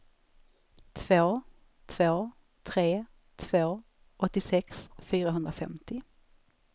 två två tre två åttiosex fyrahundrafemtio